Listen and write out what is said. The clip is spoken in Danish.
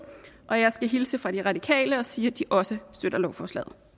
og jeg skal hilse fra de radikale og sige at de også støtter lovforslaget